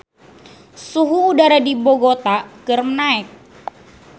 Suhu udara di Bogota keur naek